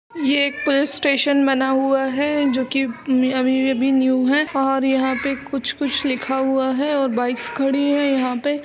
ये एक police station बना हुआ है जो कि उम् अभी अभी न्यू है और यहां पे कुछ कुछ लिखा हुआ है और बाइक्स खड़ी हैं यहां पे।